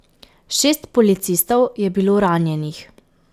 Šest policistov je bilo ranjenih.